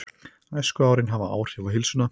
Æskuárin hafa áhrif á heilsuna